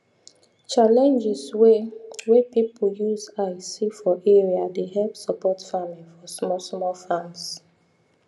challenges way way people use eye see for area dey help support farming for small small farms